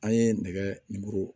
An ye nɛgɛ